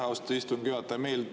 Aitäh, austatud istungi juhataja!